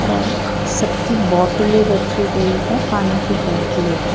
और सबकी बोटले रखी गयी है और पानी की बोटले है.